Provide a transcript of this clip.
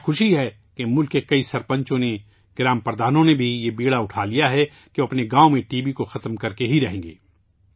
مجھے خوشی ہے کہ ملک کے کئی سرپنچوں نے، گاوں کے پردھانوں نے بھی، یہ ذمہ اٹھا لیا ہے کہ وہ اپنے گاوں میں ٹی بی کو ختم کرکے ہی رہیں گے